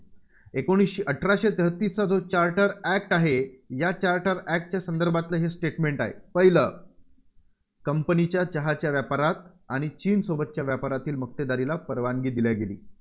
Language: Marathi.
एकोणीसशे अठराशे तेहतीसचा जो charter act आहे, या charter act च्या संदर्भातलं हे statement आहे. पहिलं. Company च्या चहाच्या व्यापारात आणि चीनसोबतच्या व्यापारातील मक्तेदारीला परवानी दिली गेली